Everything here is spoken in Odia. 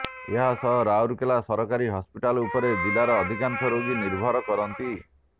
ଏହାସହ ରାଉରକେଲା ସରକାରୀ ହସ୍ପିଟାଲ ଉପରେ ଜିଲ୍ଲାର ଅଧିକାଂଶ ରୋଗୀ ନିର୍ଭର କରନ୍ତି